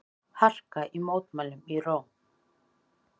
Harka í mótmælum í Róm